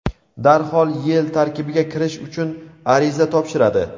darhol YeI tarkibiga kirish uchun ariza topshiradi.